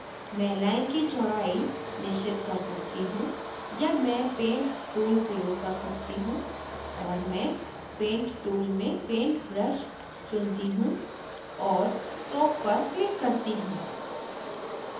मैं line की चौड़ाई निश्चित कर सकती हूँ या मैं paint tool प्रयोग कर सकती हूँ और मैं paint tool में paint brush चुनती हूँ और stroke पर click करती हूँ